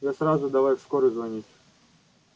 я сразу давай в скорую звонить